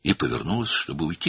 Və getmək üçün döndü.